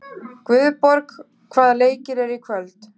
Guðborg, hvaða leikir eru í kvöld?